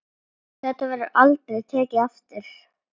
Þetta verður aldrei tekið aftur.